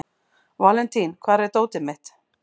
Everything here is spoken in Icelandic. Valentín, hvar er dótið mitt?